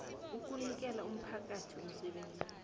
ukunikela umphakathi umsebenzi